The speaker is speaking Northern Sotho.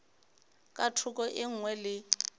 ka thoko e nngwe le